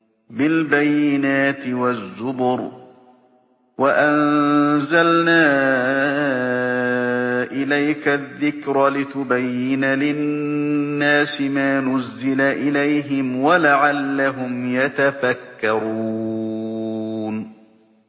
بِالْبَيِّنَاتِ وَالزُّبُرِ ۗ وَأَنزَلْنَا إِلَيْكَ الذِّكْرَ لِتُبَيِّنَ لِلنَّاسِ مَا نُزِّلَ إِلَيْهِمْ وَلَعَلَّهُمْ يَتَفَكَّرُونَ